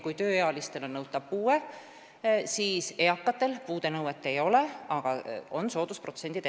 Kui tööealiste puhul on nõutav puue, siis eakatel puudenõuet ei ole, aga on erinevad soodustusprotsendid.